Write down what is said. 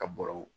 Ka bɔrɔw